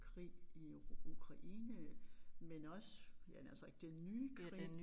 Krig i Ukraine men også ja havde nær sagt den nye krig